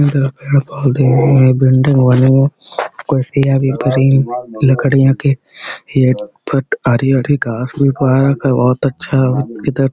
इधर पेड़-पौधे हैं। बिल्डिंग बनी लकड़ियां के। ये बोहोत अच्छा इधर --